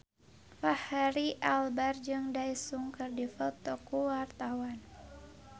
Fachri Albar jeung Daesung keur dipoto ku wartawan